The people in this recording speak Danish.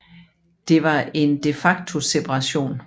Det var en de facto separation